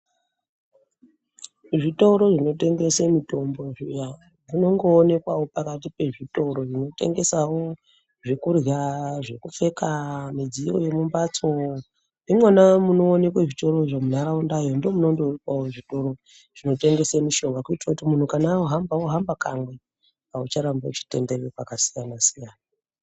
Zvitoro zvinotengese mitombo zvinongoonekwewo pakati pezvitoro zvinotengesawo zvekurya, zvekupfeka, midziyo yemumbatsi imwona munooneka zvitorozvo muntaraundayo ndomunondoonekwawo zvitoro zvinotengese mishonga kuitira kuti muntu kana ohamba ohamba kamwe aucharambi uchitenderera pakasiyana siyana.